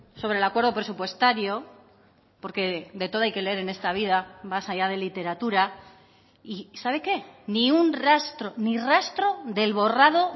sobre el acuerdo presupuestario porque de todo hay que leer en esta vida más allá de literatura y sabe qué ni un rastro ni rastro del borrado